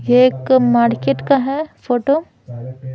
ये एक मार्केट का है फोटो --